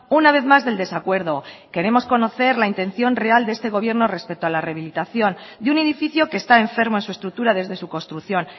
una vez más del desacuerdo queremos conocer la intención real de este gobierno respecto a la rehabilitación de un edificio que está enfermo en su estructura desde su construcción